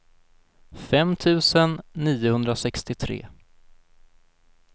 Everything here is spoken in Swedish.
fem tusen niohundrasextiotre